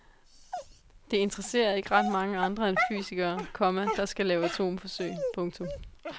Det interesserer ikke ret mange andre end fysikere, komma der skal lave atomforsøg. punktum